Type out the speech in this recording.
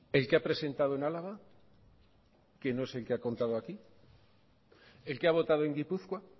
el que ha presentado en álava que no es el que ha contado aquí el que ha votado en gipuzkoa